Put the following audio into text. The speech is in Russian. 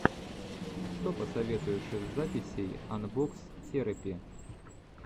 что посоветуешь из записей анбокс терэпи